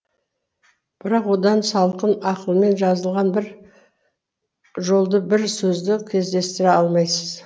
бірақ одан салқын ақылмен жазылған бір жолды бір сөзді кездестіре алмайсыз